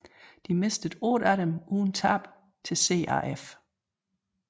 De mistede 8 af dem uden tab til CAF